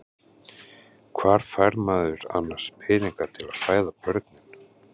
Hvar fær maður annars peninga til að fæða börnin?